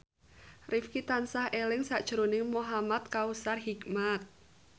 Rifqi tansah eling sakjroning Muhamad Kautsar Hikmat